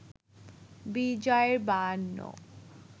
বিজয় বায়ান্ন